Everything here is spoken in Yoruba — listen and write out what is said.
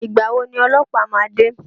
Ìgbà wo ni ọlọ́pàá ma de?